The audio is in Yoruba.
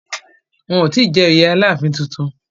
Wọn ò tí jẹ oyè Aláàfin tuntun